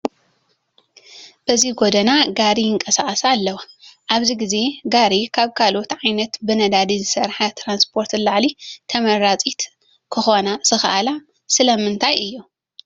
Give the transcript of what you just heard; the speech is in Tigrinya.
በዚ ጐደና ጋሪ ይንቀሳቐሳ ኣለዋ፡፡ ኣብዚ ግዜ ጋሪ ካብ ካልኦት ዓይነት ብነዳዲ ዝሰርሓ ትራንስፖርት ንላዕሊ ተመረፅቲ ክኾና ዝኸኣላ ስለምንታይ እዩ?